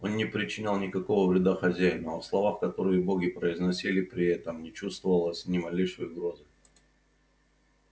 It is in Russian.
он не причинял никакого вреда хозяину а в словах которые боги произносили при этом не чувствовалось ни малейшей угрозы